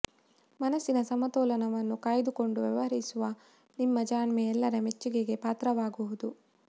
ಮನಸ್ಸಿನ ಸಮತೋಲನವನ್ನು ಕಾಯ್ದುಕೊಂಡು ವ್ಯವಹರಿಸುವ ನಿಮ್ಮ ಜಾಣ್ಮೆ ಎಲ್ಲರ ಮೆಚ್ಚುಗೆಗೆ ಪಾತ್ರವಾಗುವುದು